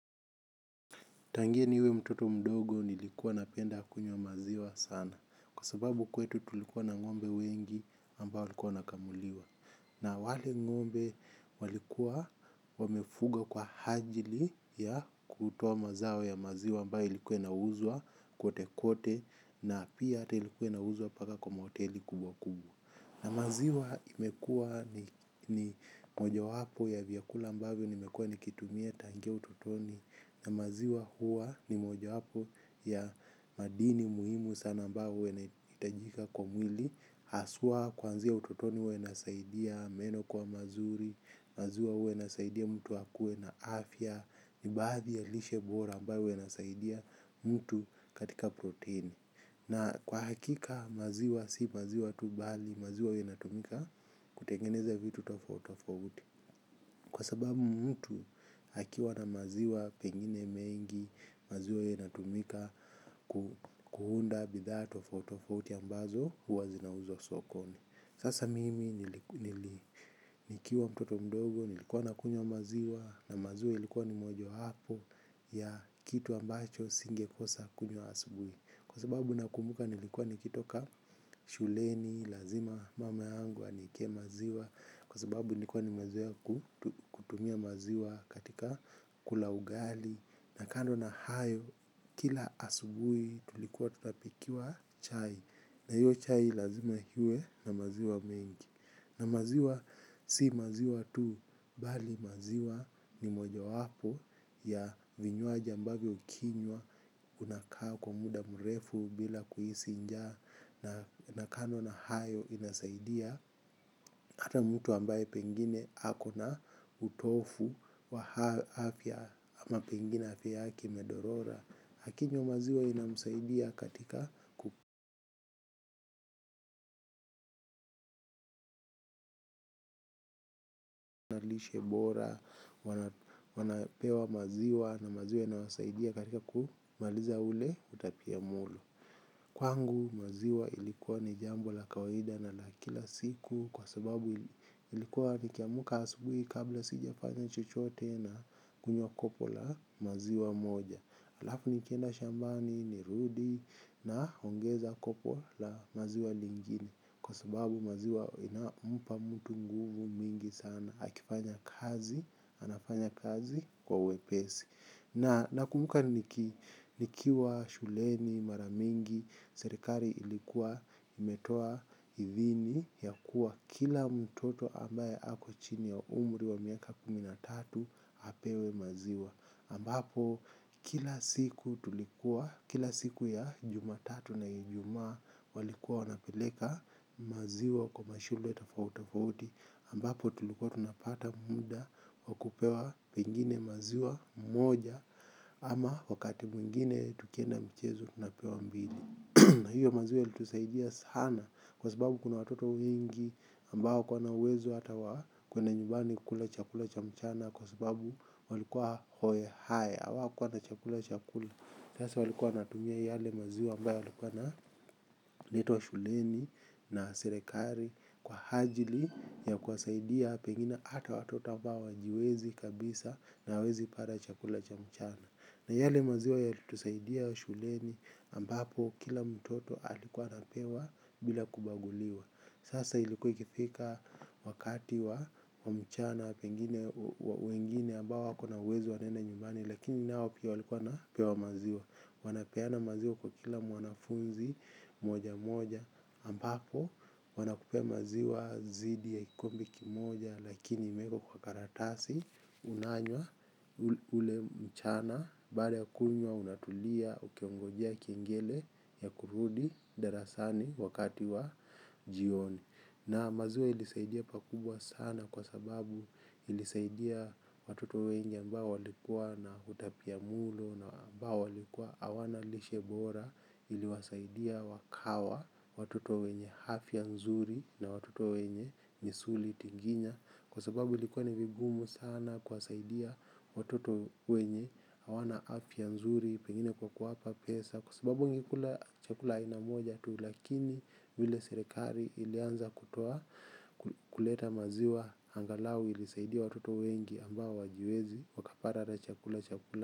Tangia niwe mtoto mdogo nilikuwa napenda kunywa maziwa sana. Kwa sababu kwetu tulikuwa na ngombe wengi ambao walikuwa wanakamuliwa. Na wale ngombe walikuwa wamefuga kwa ajili ya kutoa mazao ya maziwa ambayo ilikuwa inauzwa kote kote. Na pia ata ilikuwa na uzwa paka kwa mahoteli kubwa kubwa. Na maziwa imekua ni mojawapo ya vyakula ambayo nimekua ni kitumia tangia ututoni. Na maziwa huwa ni mojawapo ya madini muhimu sana ambayo inaitajika kwa mwili. Aswa kuanzia utotoni huwa inasaidia, meno kwa mazuri, maziwa huwa inasaidia mtu akue na afya. Ni baadhi ya lishe bora ambayo inasaidia mtu katika proteini. Na kwa hakika maziwa si maziwa tu bali maziwa inatumika kutengeneza vitu tofauti tofouti. Kwa sababu mtu akiwa na maziwa pengine mengi, maziwa iyo inatumika kuunda bidhaa tofauti tofati ambazo huwa zinauzwa sokoni. Sasa mimi nikiwa mtoto mdogo, nilikuwa na kunywa maziwa na maziwa ilikuwa ni mojawapo ya kitu ambacho singekosa kunywa asubuhi. Kwa sababu nakumbuka nilikuwa nikitoka shuleni, lazima mama yqngu aniekee maziwa. Kwa sababu nikuwa nimezoea ku kutumia maziwa katika kula ugali. Na kando na hayo, kila asubui tulikuwa tutapikiwa chai. Na hiyo chai lazima iwe na maziwa mengi. Na maziwa si maziwa tu, bali maziwa ni mojawapo ya vinywaji ambayo ukinywa unakaa kwa muda mrefu bila kuhisi njaa. Na kando na hayo inasaidia. Ata mtu ambaye pengine ako na utofu wa afya ama pengine afya haki imedorora akinywa maziwa inasaidia katika lishe bora. Wanapewa maziwa na maziwa inasaidia katika kumaliza ule utapiamlo. Kwangu maziwa ilikuwa ni jambo la kawaida na la kila siku. Kwa sababu ilikuwa nikiamka asubui kabla sijafanya chochote na kunywa kopo la maziwa moja. Alafu nikienda shambani, nirudi naongeza kopo la maziwa lingine. Kwa sababu maziwa inampa mtu nguvu mingi sana akifanya kazi, anafanya kazi kwa uwepesi. Na kumbuka nikiwa shuleni, mara mingi, serikali ilikuwa imetoa idhini ya kuwa kila mtoto ambaye ako chini wa umri wa miaka kumi na tatu apewe maziwa. Ambapo kila siku tulikuwa, kila siku ya jumatatu na ijumaa walikuwa wanapeleka maziwa kwa mashulwe tofauti tofauti ambapo tulikuwa tunapata muda wa kupewa pengine maziwa mmoja ama wakati mwingine tukienda mchezo napewa mbili. Hiyo maziwa ilitusaidia sana kwa sababu kuna watoto wengi ambao kwa na uwezo hata wa kweda nyumbani kukula chakula cha mchana kwa sababu walikuwa hoye haya awakua na chakula chakula. Sasa walikua wanatumia yale maziwa ambayo alikuwa na letwa shuleni na serekari kwa hajili ya kwasaidia pengine ata watoto ambao wajiwezi kabisa na wezi para chakula cha mchana. Na yale maziwa yalitusaidia shuleni ambapo kila mtoto alikuwa anapewa bila kubaguliwa. Sasa ilikuikifika wakati wa mchana wengine ambao wakona uwezo wanenda nyumbani. Lakini nao pia walikuwa napewa maziwa. Wanapeana maziwa kwa kila mwanafunzi moja moja ambapo wanakupea maziwa zidi ya ikumbi kimoja. Lakini mekwa kwa karatasi unanywa ule mchana. Baada ya kunywa unatulia ukeongojea kingine ya kurudi darasani wakati wa jioni. Na maziwa ilisaidia pakubwa sana kwa sababu ilisaidia watuto wenye ambao walikua na hutapia mulo. Na ambao walikua awana lishe bora iliwasaidia wakawa watuto wenye hafia nzuri. Na watuto wenye misuli tinginya. Kwa sababu ilikuwa ni vigumu sana kwasaidia watuto wenye hawana afya nzuri pengine kwa kuwapa pesa kwasababu wangekula chakula aina moja tu lakini vile sirikari ilianza kutua kuleta maziwa angalau ilisaidia watoto wengi ambao wajiwezi wakapata ata chakula chakula.